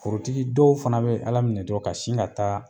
Forotigi dɔw fana be ala minɛ dɔrɔn ka sin ka taa